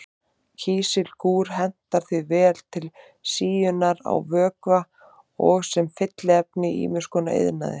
Kísilgúr hentar því vel til síunar á vökva og sem fylliefni í ýmis konar iðnaði.